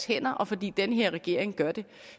hænder og fordi den her regering gør det